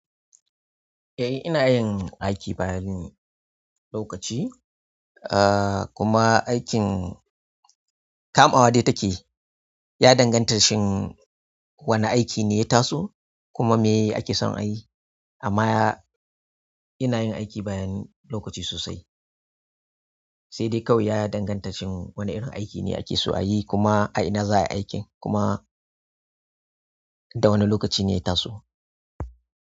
Eh ina yin aiki bayan lokaci, ah kuma aikin. Kamawa dai takeyi, ya danganta shin wane aiki ne ya taso, kuma me ake son a yi. Amma ina yin aiki bayan lokaci sosai. Sai dai kawai ya danganta shin wane irin aiki ne ake so a yi kuma a ina za a yi aikin kuma da wane lokaci ne ya taso.